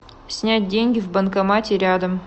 снять деньги в банкомате рядом